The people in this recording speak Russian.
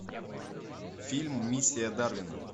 фильм миссия дарвина